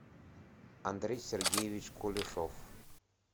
андрей сергеевич кулешов